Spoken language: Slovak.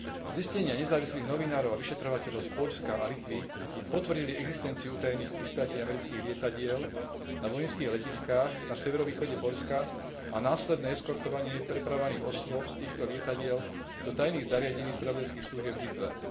Zistenia nezávislých novinárov a vyšetrovateľov z Poľska a Litvy potvrdili existenciu utajených pristátí amerických lietadiel na vojenských letiskách na severovýchode Poľska a následné eskortovanie prepravovaných osôb z týchto lietadiel do tajných zariadení spravodajských služieb v Litve.